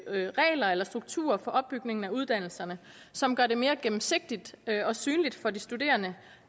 regler eller strukturer for opbygningen af uddannelserne som gør det mere gennemsigtigt og synligt for de studerende